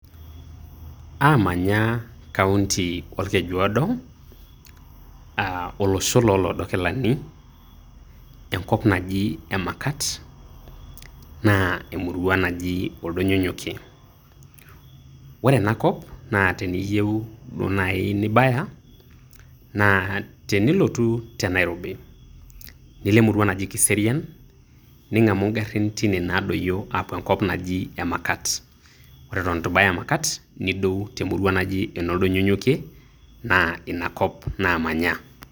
Amanya kaunti olkeju odo, ah olosho lo loodokilani, enkop naji emakat. Na emurua naji oldonyonyokie. Ore enakop naa teneyieu duo nai nibaya, na tenilotu te Nairobi, nilo emurua naji kiserian, ning'amu garrin teine nadoyio apuo enkop naji emakat. Ore eton eitu baya emakat nidou temurua naji ene oldonyonyokie na inakop namanya.